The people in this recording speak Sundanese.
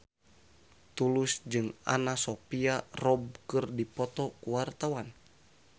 Tulus jeung Anna Sophia Robb keur dipoto ku wartawan